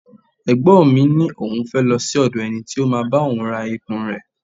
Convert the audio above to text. Ẹ̀gbọ́n mi ní òun fẹ́ lọ sí òdò ẹni tí ó máa bá òun ra ikùn rẹ̀.